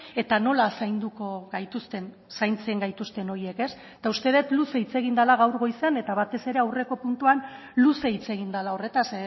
eta nola zainduko gaituzten zaintzen gaituzten horiek uste dut luze hitz egin dela gaur goizean eta batez ere aurreko puntua luze hitz egin dela horretaz